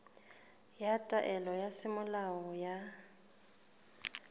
ya taelo ya semolao ya